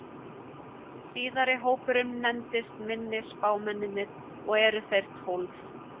Síðari hópurinn nefnist minni spámennirnir og eru þeir tólf.